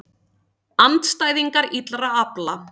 Andstæðingar illra afla